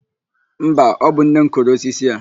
Mba, ọ bụ nne m kụrụ osisi a.